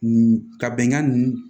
Ka bɛnkan nunnu